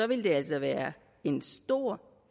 ville det altså være en stor